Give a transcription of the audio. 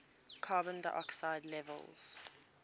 carbon dioxide levels